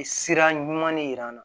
Sira ɲuman de jira n na